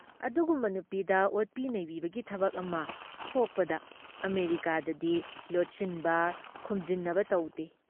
ꯑꯗꯨꯒꯨꯨꯝꯕ ꯅꯨꯄꯤꯗ ꯑꯣꯠꯄꯤ ꯅꯩꯕꯤꯕꯒꯤ ꯊꯕꯛ ꯑꯃ ꯊꯣꯛꯄꯗ ꯑꯃꯦꯔꯤꯀꯥꯗꯗꯤ ꯂꯣꯠꯁꯤꯟꯕ, ꯈꯨꯝꯖꯤꯟꯅꯕ ꯇꯧꯗꯦ ꯫